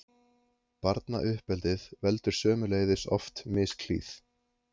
Barnauppeldið veldur sömuleiðis oft misklíð.